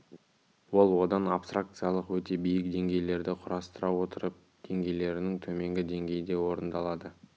ол одан абстракциялық өте биік деңгейлерді құрастыра отырып деңгейлерінің төменгі деңгейінде орындалады